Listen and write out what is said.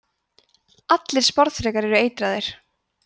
allir sporðdrekar eru eitraðir